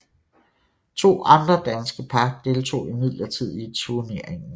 To andre danske par deltog imidlertid i turneringen